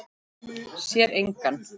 Sér engan.